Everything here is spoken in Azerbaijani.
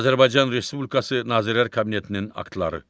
Azərbaycan Respublikası Nazirlər Kabinetinin aktları.